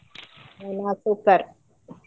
ನಾನಾ super .